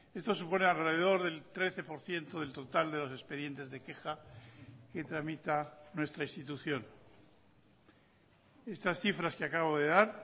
esto supone alrededor del trece por ciento del total de los expedientes de queja que tramita nuestra institución estas cifras que acabo de dar